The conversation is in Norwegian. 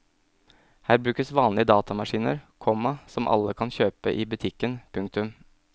Her brukes vanlige datamaskiner, komma som alle kan kjøpe i butikken. punktum